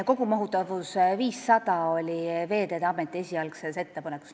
Kogumahutavus 500 oli Veeteede Ameti esialgses ettepanekus.